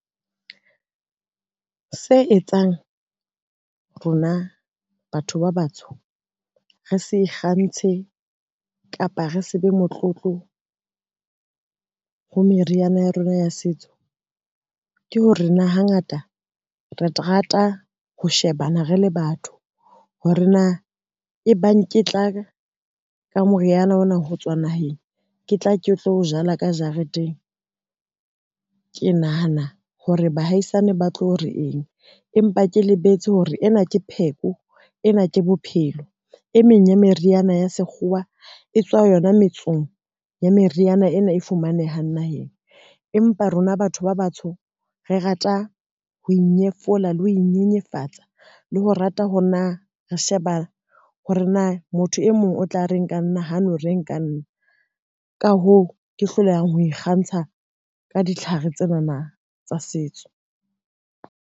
Se etsang rona batho ba batsho, re se ikgantshe kapa re se be motlotlo ho meriana ya rona ya setso, ke hore na hangata re terata ho shebana re le batho, hore na e bang ke tla ka moriana ona ho tswa naheng, ke tla ke tlo o jala ka jareteng, ke nahana hore bahaisane ba tlo re eng empa ke lebetse hore ena ke pheko, ena ke bophelo e meng ya meriana ya sekgowa e tswa yona metsong ya meriana ena e fumanehang naheng. Empa rona batho ba batsho, re rata ho inyefola le ho inyenyefatsa le ho rata hore na re sheba hore na motho e mong o tla reng ka nna ha no reng ka nna, ka hoo ke hlolehang ho ikgantsha ka ditlhare tsenana tsa setso.